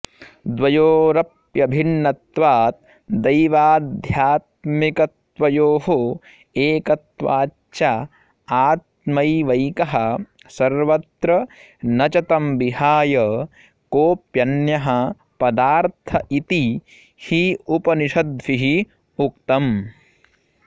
द्वयोरप्यभिन्नत्वाद् दैवाध्यात्मिकतत्त्वयोः एकत्वाच्च आत्मैवैकः सर्वत्र न च तं विहाय कोऽप्यन्यः पदार्थ इति हि उपनिषद्भिः उक्तम्